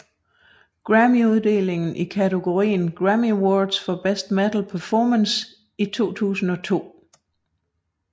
Grammyuddeling i kategorien Grammy Award for Best Metal Performance i 2002